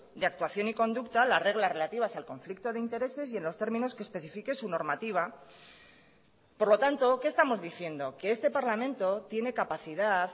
de actuación y conducta a las reglas relativas al conflicto de intereses y en los términos que especifique su normativa por lo tanto qué estamos diciendo que este parlamento tiene capacidad